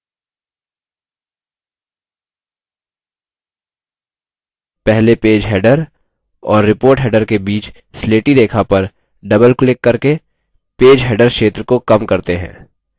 पहले page header और report header के बीच स्लेटी रेखा पर double क्लिक करके page header क्षेत्र को कम करते हैं